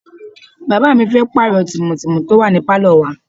Bàbá mi fẹ́ pààrọ̀ tìmù tìmù tó wà ní Pálò wa.